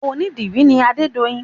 Onídìrí ni adedoyin